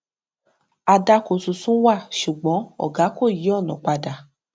àdàkọ tuntun wà ṣùgbọn ògá kọ yí ònà padà